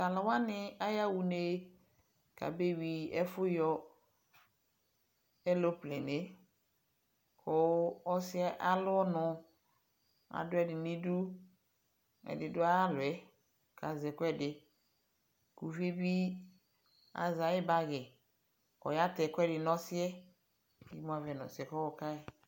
talʋ wani ayaa ʋnɛ kʋ abɛwi ɛƒʋ yɔ aeroplaneɛ kʋ ɔsiiɛ alʋ ɔnʋ, adʋ ɛdi nʋ idʋ, ɛdi dʋ ayialɔɛ kʋ azɛ ɛkʋɛdi kʋ ʋviɛ bi azɛ ayi bagi kʋ ɔya tɛ ɛkʋɛdi nʋ ɔsiiɛ, imʋ aɣɛ nʋ ɔsiiɛ kʋ ɔkai.